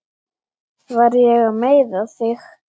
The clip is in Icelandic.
Var ég að meiða þig?